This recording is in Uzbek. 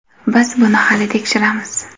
Biz buni hali tekshiramiz.